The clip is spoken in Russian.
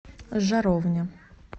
жаровня